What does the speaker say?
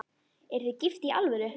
Eruð þið gift í alvöru?